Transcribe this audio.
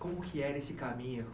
Como que era esse caminho?